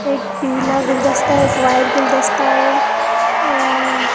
एक पीला गुलदस्ता एक व्हाइट गुलदस्ता है और --